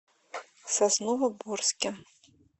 сосновоборске